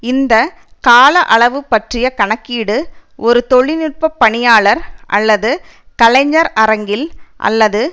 இந்த கால அளவு பற்றிய கணக்கீடு ஒரு தொழில்நுட்ப பணியாளர் அல்லது கலைஞர் அரங்கில் அல்லது